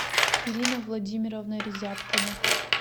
ирина владимировна резябкина